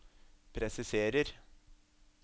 presiserer